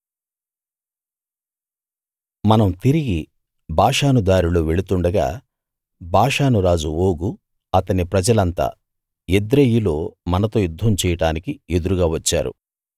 మనం తిరిగి బాషాను దారిలో వెళ్తుండగా బాషాను రాజు ఓగు అతని ప్రజలంతా ఎద్రెయీలో మనతో యుద్ధం చేయడానికి ఎదురుగా వచ్చారు